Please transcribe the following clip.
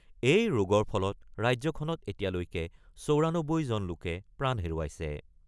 এই ৰোগৰ ফলত ৰাজ্যখনত এতিয়ালৈকে ৯৪জন লোকে প্ৰাণ হেৰুৱাইছে।